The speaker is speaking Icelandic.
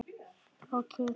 Og kyngja.